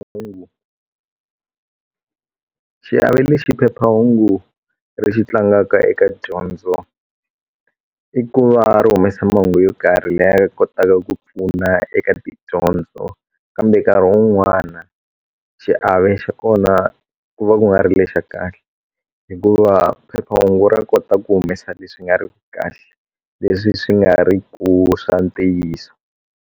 xiave lexi phephahungu ri xi tlangaka eka dyondzo i ku va ri humesa mahungu yo karhi laya kotaka ku pfuna eka tidyondzo kambe nkarhi wun'wana xiave xa kona ku va ku nga ri lexa kahle hikuva phephahungu ra kota ku humesa leswi nga riki kahle leswi swi nga ri ku swa ntiyiso.